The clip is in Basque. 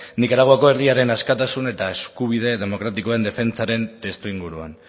nikaraguako herriaren askatasun eta eskubide demokratikoen defentsaren testuinguruan